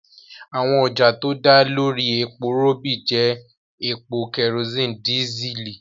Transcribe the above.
Àwọn ọjà tó dá lórí epo rọ̀bì pẹ̀lú epo, kerosene, dísẹ́ẹ̀lì.